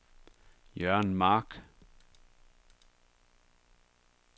Jørgen Mark